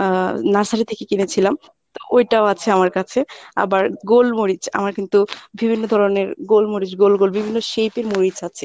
আহ nursery থেকে কিনেছিলাম তা ওইটাও আছে আমার কাছে আবার গোলমরিচ আমার কিন্তু বিভিন্ন ধরনের গোলমরিচ গোল গোল বিভিন্ন shape এর মরিচ আছে।